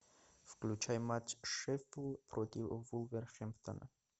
включай матч шеффилд против вулверхэмптона